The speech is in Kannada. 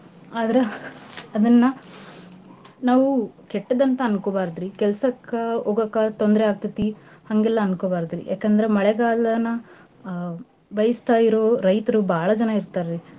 ಆದ್ರ ಅದನ್ನ ನಾವು ಕೆಟ್ಟದಂತ ಅನ್ಕೋಬಾರ್ದ್ರಿ ಕೆಲ್ಸಕ್ಕ ಹೋಗಕ ತೊಂದ್ರೆ ಆಗ್ತೇತಿ ಹಂಗೆಲ್ಲಾ ಅನ್ಕೋಬಾರ್ದ್ರಿ. ಯಾಕಂದ್ರ ಮಳೆಗಾಲನ ಬಯ್ಸ್ತಾ ಇರೋ ರೈತ್ರು ಭಾಳಾ ಜನ ಇರ್ತಾರ್ರಿ.